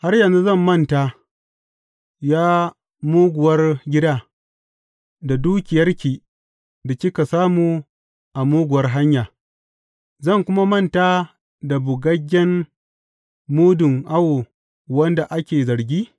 Har yanzu zan manta, ya muguwar gida da dukiyarki da kika samu a muguwar hanya zan kuma manta da bugaggen mudun awo wanda ake zargi?